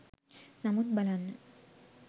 නමුත් බලන්න